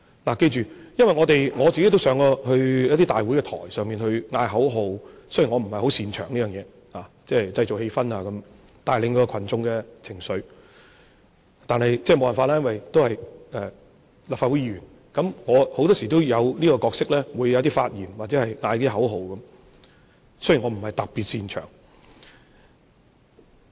請記着，我也曾經在大會台上呼喊口號，雖然我不是十分擅長在這方面製造氣氛和帶領群眾情緒，但沒法子，我是立法會議員，很多時候我會有這個角色，需要發言和喊口號，儘管我不是特別擅長。